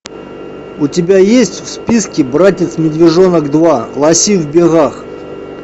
у тебя есть в списке братец медвежонок два лоси в бегах